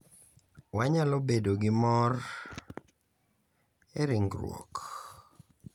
Wanyalo bedo gi mor e ringruok .